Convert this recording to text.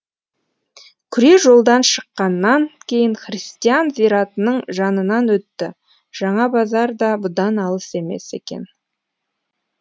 күре жолдан шыққаннан кейін христиан зиратының жанынан өтті жаңа базар да бұдан алыс емес екен